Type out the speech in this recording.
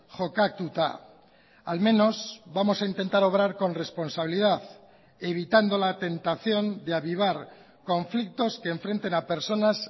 jokatuta al menos vamos a intentar obrar con responsabilidad evitando la tentación de avivar conflictos que enfrenten a personas